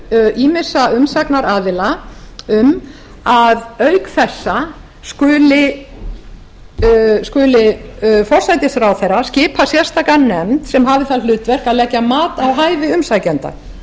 tillögu ýmissa umsagnaraðila um að auk þessa skuli forsætisráðherra skipa sérstaka nefnd sem hafi það hlutverk að leggja mat á hæfi umsækjenda